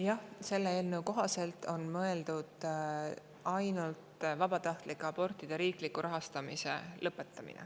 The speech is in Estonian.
Jah, selle eelnõu kohaselt on mõeldud ainult vabatahtlike abortide riikliku rahastamise lõpetamist.